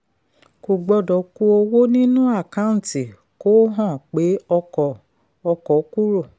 kò gbọdọ̀ kù owó nínú àkáǹtì kó hàn pé ọkọ̀ ọkọ̀ kúrò.